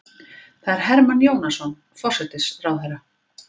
Það er Hermann Jónasson forsætisráðherra.